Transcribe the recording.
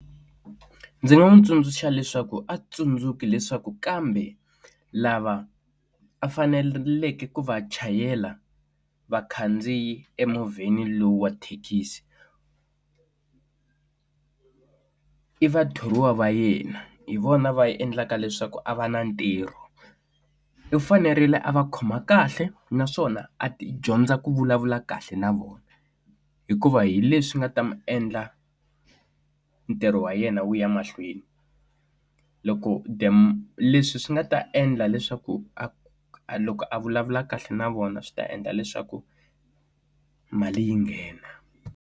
Ndzi nga n'wi tsundzuxa leswaku a tsundzuki leswaku kambe lava a faneleke ku va chayela vakhandziyi emovheni lowu wa thekisi i va thoriwa va yena hi vona va yi endlaka leswaku a va na ntirho. U fanerile a va khoma kahle naswona a dyondza ku vulavula kahle na vona, hikuva hi leswi nga ta n'wi endla ntirho wa yena wu ya mahlweni. Loko leswi swi nga ta endla leswaku a a loko a vulavula kahle na vona swi ta endla leswaku mali yi nghena.